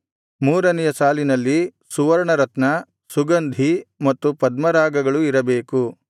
ಮೂರನೆಯ ಸಾಲಿನಲ್ಲಿ ಸುವರ್ಣರತ್ನ ಸುಗಂಧಿ ಮತ್ತು ಪದ್ಮರಾಗಗಳು ಇರಬೇಕು